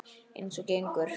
Eins og gengur.